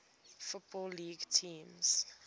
football league teams